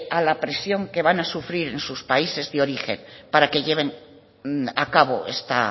a la presión que van a sufrir en sus países de origen para que lleven a cabo esta